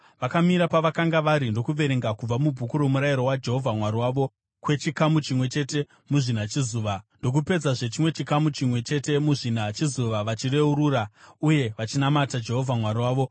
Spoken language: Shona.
Vakamira pavakanga vari ndokuverenga kubva muBhuku roMurayiro waJehovha Mwari wavo kwechikamu chimwe chete muzvina chezuva, ndokupedzazve chimwe chikamu chimwe chete muzvina chezuva, vachireurura uye vachinamata Jehovha Mwari wavo.